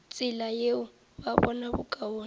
tsela yeo ba bona bokaone